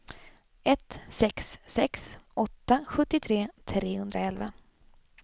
ett sex sex åtta sjuttiotre trehundraelva